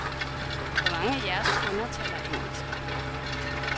Hvor mange af jeres kunder taler engelsk?